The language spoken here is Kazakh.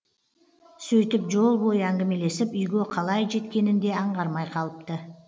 сөйтіп жол бойы әңгімелесіп үйге қалай жеткенін де аңғармай қалыпты